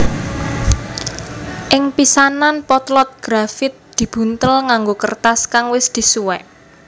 Ing pisanan potlot grafit dibuntel nganggo kertas kang wis disuwek